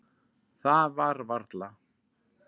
Það var varla.